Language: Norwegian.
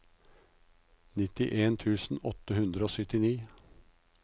nittien tusen åtte hundre og syttini